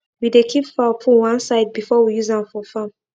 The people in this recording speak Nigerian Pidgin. we dey keep fowl poo one side before we use am for farm